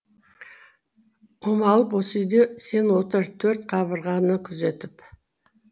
омалып осы үйде сен отыр төрт қабырғаны күзетіп